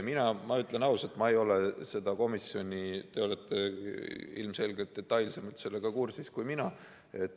Mina ütlen ausalt, et te olete ilmselgelt detailsemalt selle komisjoniga kursis kui mina.